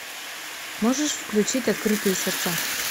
можешь включить открытые сердца